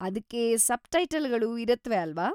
ಅದ್ಕೆ ಸಬ್‌ಟೈಟಲ್‌ಗಳು ಇರತ್ವೆ ಅಲ್ವಾ?